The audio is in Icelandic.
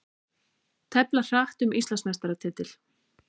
Tefla hratt um Íslandsmeistaratitil